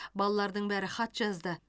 балалардың бәрі хат жазды